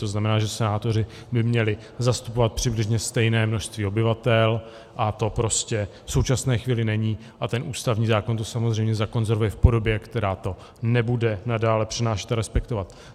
To znamená, že senátoři by měli zastupovat přibližně stejné množství obyvatel, a to prostě v současné chvíli není a ten ústavní zákon to samozřejmě zakonzervuje v podobě, která to nebude nadále přinášet a respektovat.